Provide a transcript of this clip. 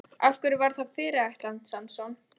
Af hverju var það fyrirætlan Samson?